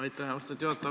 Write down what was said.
Aitäh, austatud juhataja!